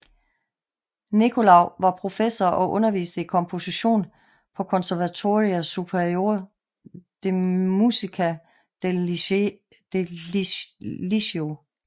Nicolau var professor og underviste i komposition på Conservatorio Superior de Música del Liceo